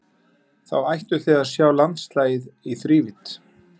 Þá ættuð þið að sjá landslagið í þrívídd.